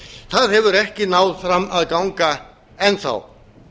það hefur ekki náð fram að ganga enn þá